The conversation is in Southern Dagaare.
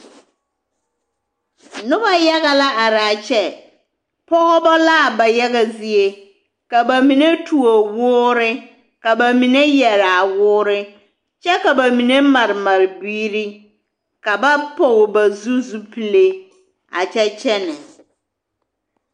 Nobɔ yaga la araa kyɛ pɔgbɔ laa ba yaga zie ka ba mine tuo woore ka ba mine yɛraa woore kyɛ ka ba mine mare mare biiri ka ba pɔg ba zu zupile a kyɛ kyɛnɛ.